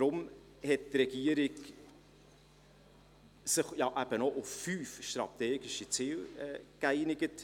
Deshalb hat die Regierung sich auf fünf strategische Ziele geeinigt.